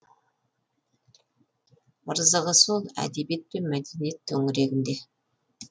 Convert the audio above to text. ырзығы сол әдебиет пен мәдениет төңірегінде